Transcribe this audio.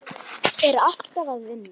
Ég er alltaf að vinna.